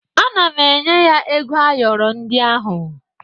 Ana m enye ya ego ayọrọ ndị ahụ